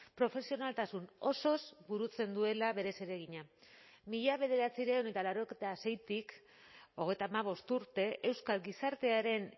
profesionaltasun osoz burutzen duela bere zeregina mila bederatziehun eta laurogeita seitik hogeita hamabost urte euskal gizartearen